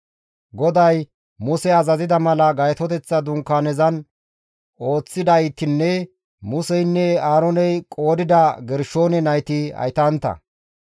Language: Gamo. GODAY Muse azazida mala Gaytoteththa Dunkaanezan ooththidaytinne Museynne Aarooney qoodida Gershoone nayti haytantta.